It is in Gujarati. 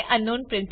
તે અંકનાઉન